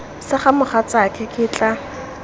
sa ga mogatsaake ke tla